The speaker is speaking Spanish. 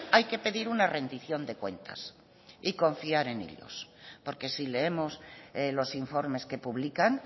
hay que pedir una rendición de cuentas y confiar en ellos porque si leemos los informes que publican